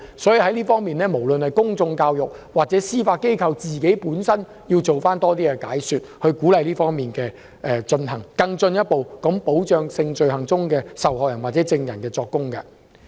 政府應透過公眾教育及司法機制本身多做解說，鼓勵屏障的使用，以進一步保障就性罪行作供的受害人或證人。